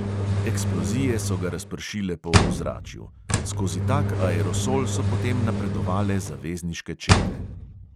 Eksplozije so ga razpršile po ozračju; skozi tak aerosol so potem napredovale zavezniške čete.